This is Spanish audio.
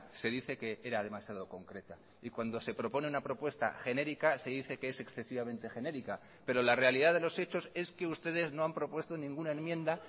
se dice que era demasiado concreta y cuando se propone una propuesta genérica se dice que es excesivamente genérica pero la realidad de los hechos es que ustedes no han propuesto ninguna enmienda